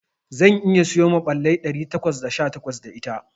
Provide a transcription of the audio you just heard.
Zan iya siyo maɓallai ɗari takwas da sha takwas da ita.